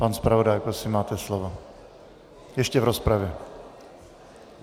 Pan zpravodaj, prosím, máte slovo ještě v rozpravě.